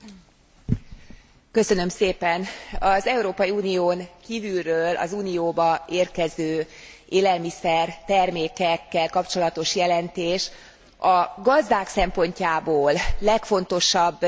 Az Európai Unión kívülről az Unióba érkező élelmiszertermékekkel kapcsolatos jelentés a gazdák szempontjából legfontosabb áttörést sajnos nem hozta meg.